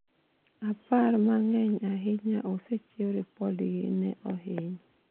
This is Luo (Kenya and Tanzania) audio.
apar mang'eny ahinya osechiw ripodgi ne ohiny